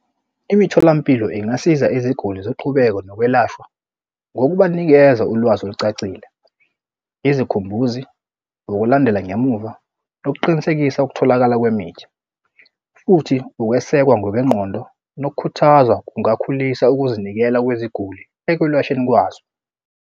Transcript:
Imitholampilo ingasiza iziguli zoqhubeka nokwelashwa ngokubanikeza ulwazi olucacile. Izikhumbuzi ngokulandela ngemuva nokuqinisekisa ukutholakala kwemithi, futhi ukwesekwa ngokwengqondo nokukhuthaza kungakhulisa ukuzinikela kweziguli ekwelashweni kwazo.